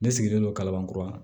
Ne sigilen don kalaban kura